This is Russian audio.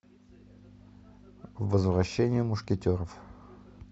возвращение мушкетеров